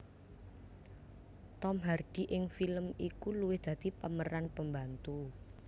Tom Hardy ing film iku luwih dadi pemeran pembantu